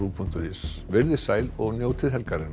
punktur is veriði sæl og njótið helgarinnar